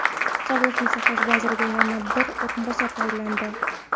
Sog‘liqni saqlash vaziriga yana bir o‘rinbosar tayinlandi.